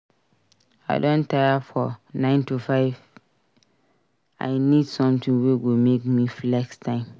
I don tire for 9-to-5 I need something wey go make me flex time.